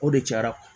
O de cayara